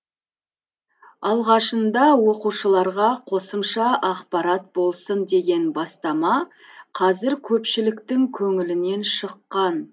алғашында оқушыларға қосымша ақпарат болсын деген бастама қазір көпшіліктің көңілінен шыққан